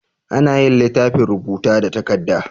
Anayin litafin rubuta da takadda